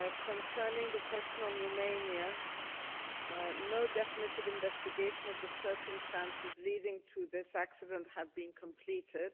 Concerning the question on Romania no definitive investigation of the circumstances leading to this accident have been completed.